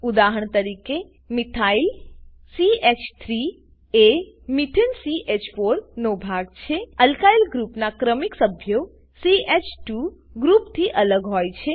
ઉદાહરણ તરીકે મિથાઇલ ચ3 મિથાઈલ એ મેથાને ચ4 મીથેન નો ભાગ છે અલ્કાઈલ ગ્રુપના ક્રમિક સભ્યો ચ2 ગ્રુપ થી અલગ હોય છે